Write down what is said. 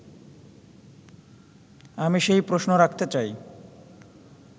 আমি সেই প্রশ্ন রাখতে চাই